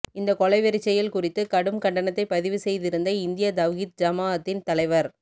இந்த கொலை வெறிச் செயல் குறித்து கடும் கண்டனத்தை பதிவு செய்திருந்த இந்திய தவ்ஹீத் ஜமாஅத்தின் தலைவர்